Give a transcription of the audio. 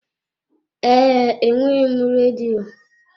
Ee, enweghị m redio.